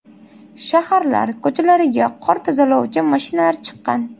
Shaharlar ko‘chalariga qor tozalovchi mashinalar chiqqan.